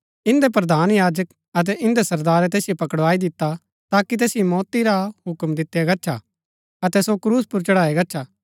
इन्दै प्रधान याजक अतै इन्दै सरदारै तैसिओ पकड़वाई दिता ताकि तैसिओ मौती रा हुक्म दितआ गच्छा अतै सो क्रूस पुर चढाया गच्छा